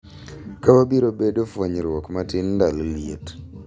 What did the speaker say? Ka wabiro bedo fwenyruok matin ndalo liet.